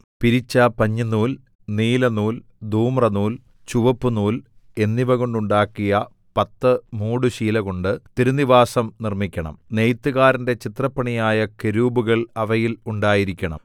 പിരിച്ച പഞ്ഞിനൂൽ നീലനൂൽ ധൂമ്രനൂൽ ചുവപ്പുനൂൽ എന്നിവ കൊണ്ടുണ്ടാക്കിയ പത്ത് മൂടുശീലകൊണ്ട് തിരുനിവാസം നിർമ്മിക്കണം നെയ്ത്തുകാരന്റെ ചിത്രപ്പണിയായ കെരൂബുകൾ അവയിൽ ഉണ്ടായിരിക്കണം